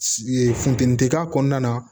Ee funteni tɛ k'a kɔnɔna na